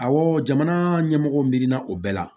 Awɔ jamana ɲɛmɔgɔ mirina o bɛɛ la